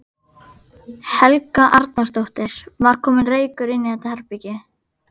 Helga Arnardóttir: Var kominn reykur inn í þetta herbergi?